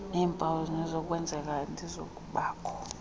neempawu zokunokwenzeka nezokubakho